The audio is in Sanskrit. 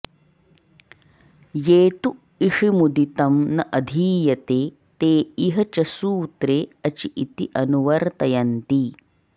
ये तु इषिमुदितं न अधीयते ते इह च सूत्रे अचि इति अनुवर्तयन्ति